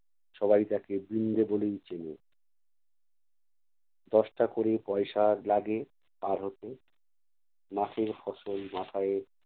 সবাই তাকে বৃন্দ বলেই চেনে। দশটা ক'রে পয়সা লাগে পাড় হতে। মাঠের ফসল মাথায়